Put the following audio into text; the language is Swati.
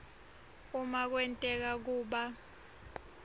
uma kwenteka kuba